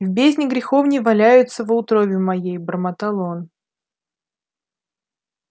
в бездне греховней валяются во утробе моей бормотал он